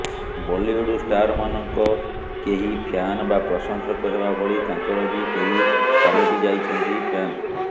ବଲିଉଡ୍ ଷ୍ଟାରମାନଙ୍କ କେହି ଫ୍ୟାନ୍ ବା ପ୍ରଶଂସକ ହେବା ଭଳି ତାଙ୍କର ବି କେହି ପାଲଟିଯାଇଛନ୍ତି ଫ୍ୟାନ୍